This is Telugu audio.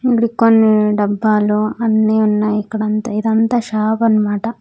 ముందు కొన్ని డబ్బాలో అన్ని ఉన్నాయి ఇక్కడ అంత ఇదంతా షాప్ అన్నమాట.